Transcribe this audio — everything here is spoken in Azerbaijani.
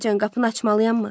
Dayıcan, qapını açmalıyam mı?